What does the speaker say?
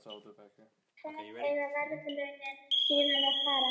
En í hvað eiga verðlaunin síðan að fara?